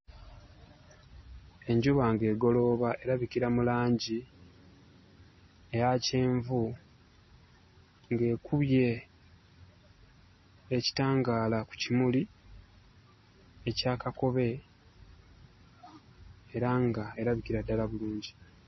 Enjuba ng'egolooba erabikira mu langi eya kyenvu, ng'ekubye ekitangaala ku kimuli ekya kakobe era ng'erabikira ddala bulungi.